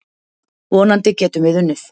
Vonandi getum við unnið.